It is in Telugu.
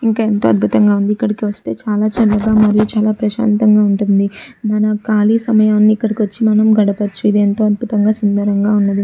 ఇంకా ఎంతో అద్బుద్తంగా వుంది. ఇక్కడ చాల చల్లగా మరియు చాల ప్రసంతగా వుంది మన కాళీ సమయని ఇక్కడికి వచ్చి గడపవాచు. ఇది ఎంతో అద్భుతంగా సుందరంగా ఉన్నదీ.